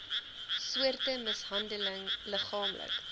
soorte mishandeling liggaamlik